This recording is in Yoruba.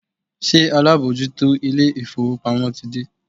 Ṣé alábòójútó ilé-ìfowópamọ́ ti dé?